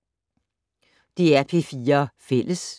DR P4 Fælles